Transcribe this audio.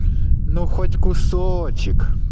ну хоть кусочек